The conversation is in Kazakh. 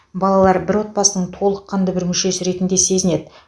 балалар бір отбасының толыққанды бір мүшесі ретінде сезінеді